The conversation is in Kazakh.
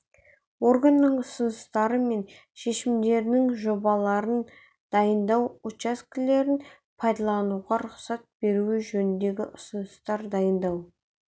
органның ұсыныстары мен шешімдерінің жобаларын дайындау учаскелерін пайдалануға рұқсат беруі жөнінде ұсыныстар дайындау